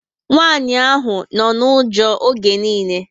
Nwanyị ahụ nọ na ụjọ oge nille